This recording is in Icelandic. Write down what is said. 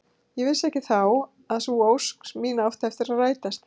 Ég vissi ekki þá að sú ósk mín átti eftir að rætast.